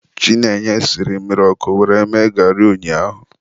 Chinenye siri mmiri ọkụ were mee garị ụnyaahụ.